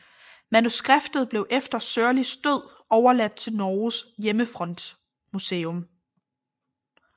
Manuskriptet blev efter Sørlis død overladt til Norges Hjemmefrontmuseum